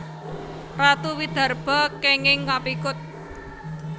Ratu Widarba kènging kapikut